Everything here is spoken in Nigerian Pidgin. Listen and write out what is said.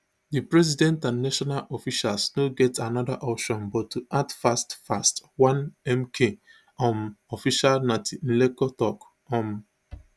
di president and national officials no get anoda option but to act fastfast one mk um official nathi nhleko tok um